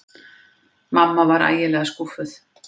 Mamma var ægilega skúffuð.